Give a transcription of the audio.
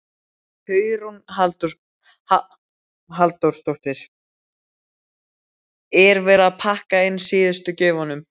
Hugrún Halldórsdóttir: Er verið að pakka inn síðustu gjöfunum?